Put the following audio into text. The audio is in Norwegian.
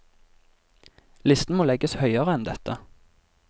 Listen må legges høyere enn dette.